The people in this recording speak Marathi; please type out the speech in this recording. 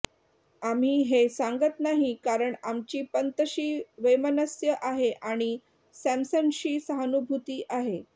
आम्ही हे सांगत नाही कारण आमची पंतशी वैमनस्य आहे आणि सॅमसनशी सहानुभूती आहे